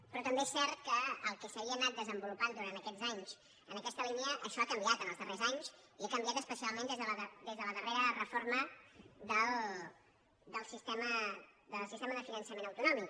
però també és cert que el que s’havia anat desenvolupant durant aquests anys en aquesta línia això ha canviat en els darrers anys i ha canviat especialment des de la darrera reforma del sistema de finançament autonòmic